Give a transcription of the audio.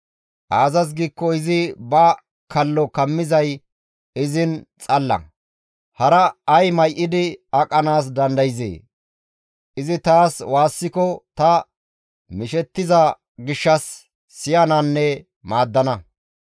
Aazas giikko izi ba kallo kammizay izin xalla; hara ay may7idi aqanaas dandayzee? Izi taas waassiko ta mishettiza gishshas izas siyananne iza maaddana.